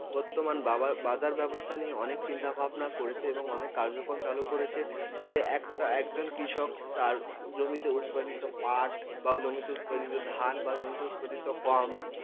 বর্তমান বা বাজার ব্যবস্থা নিয়ে অনেক চিন্তা ভাবনা করছে এবং অনেক কার্যক্রম চালু করেছে যে এক একজন কৃষক তার জমিতে উৎপাদিত পাট বা জমিতে উৎপাদিত ধান বা জমিতে উতপাদিত গম